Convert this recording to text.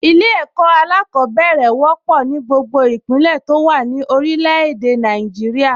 Ilé-ẹ̀kọ́ alákọ̀ọ́bẹ̀rẹ̀ wọ́pọ̀ ní gbogbo ìpínlẹ̀ tó wà ní orilẹ̀ èdè Nàìjíríà